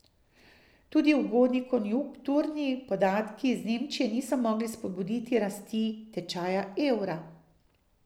Tudi ugodni konjunkturni podatki iz Nemčije niso mogli spodbuditi rasti tečaja evra.